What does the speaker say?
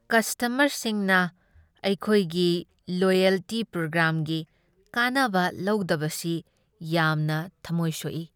ꯀꯁꯇꯃꯔꯁꯤꯡꯅ ꯑꯩꯈꯣꯏꯒꯤ ꯂꯣꯏꯌꯦꯜꯇꯤ ꯄ꯭ꯔꯣꯒ꯭ꯔꯥꯝꯒꯤ ꯀꯥꯟꯅꯕ ꯂꯧꯗꯕꯁꯤ ꯌꯥꯝꯅ ꯊꯃꯣꯏ ꯁꯣꯛꯏ꯫